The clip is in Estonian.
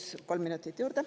Paluks kolm minutit juurde.